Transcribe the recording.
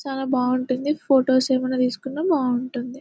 చాలా బాగుంటుంది photos ఏమన్నా తీసుకున్న బావుంటుంది.